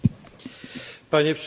Panie Przewodniczący!